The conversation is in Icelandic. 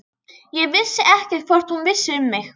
Ég vissi ekkert hvort hún vissi um mig.